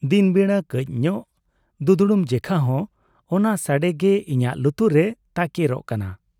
ᱫᱤᱱ ᱵᱮᱲᱟ ᱠᱟᱹᱡᱽ ᱧᱚᱜ ᱫᱩᱫᱽᱲᱩᱢ ᱡᱮᱠᱷᱟ ᱦᱚᱸ ᱚᱱᱟ ᱥᱟᱰᱮ ᱜᱮ ᱤᱧᱟᱜ ᱞᱩᱛᱩᱨ ᱨᱮ ᱛᱟᱠᱮᱨᱚᱜ ᱠᱟᱱᱟ ᱾